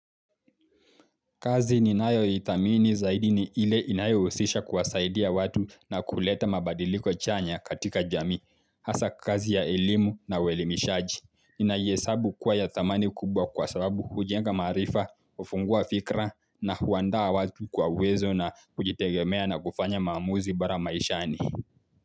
Kazi ninayoithamini zaidi ni ile inayohusisha kuwasaidia watu na kuleta mabadiliako chanya katika jamii. Hasa kazi ya elimu na uelimishaji. Ninaihesabu kuwa ya thamani kubwa kwa sababu hujenga maarifa, hufungua fikra na huandaa watu kwa uwezo na kujitegemea na kufanya maamuzi bora maishani.